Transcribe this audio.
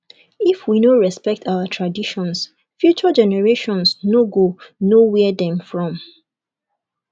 if we no respect our traditions future generations no go know where dem from